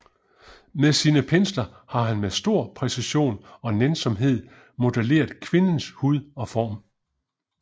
Med sine pensler har han med stor præcision og nænsomhed modelleret kvindens hud og former